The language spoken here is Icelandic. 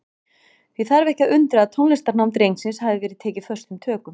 Því þarf ekki að undra að tónlistarnám drengsins hafi verið tekið föstum tökum.